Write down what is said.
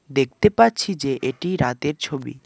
দেখতে পাচ্ছি যে এটি রাতের ছবি।